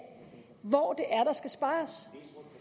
hvor der skal spares